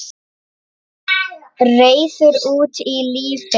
Reiður út í lífið.